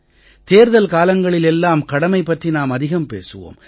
தேர்தல் காலங்களில் எல்லாம் கடமை பற்றி நாம் அதிகம் பேசுவோம்